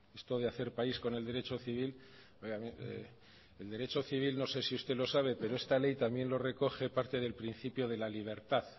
esto de hacer país con el derecho civil oiga el derecho civil no sé si usted lo sabe pero esta ley también lo recoge parte del principio de la libertad